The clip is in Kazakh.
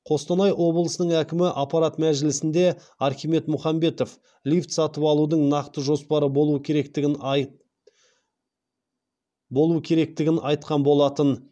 қостанай облысының әкімі аппарат мәжілісінде архимед мұхамбетов лифт сатып алудың нақты жоспары болу керектігін айтқан болатын